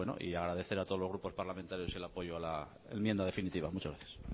y agradecer a todos los grupos parlamentarios el apoyo a la enmienda definitiva muchas gracias